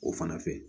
O fana fɛ